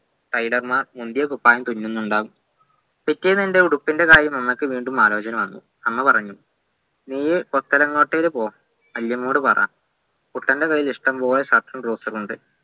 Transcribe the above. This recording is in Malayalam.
tailor മാർ മുന്തിയകുപ്പായം തുന്നുന്നുണ്ടാവും പിറ്റേന്നെൻ്റെ ഉടുപ്പിൻ്റെ കാര്യം അമ്മക്ക് വീണ്ടും ആലോചന വന്നു 'അമ്മ പറഞ്ഞു നീ കൊത്തലങ്ങോട്ടൂർ പോ വല്യമ്മയോട് പറ കുട്ടൻ്റെ കയ്യിൽ ഇഷ്ടംപോലെ shirt ഉം trouser ഉം ഉണ്ട്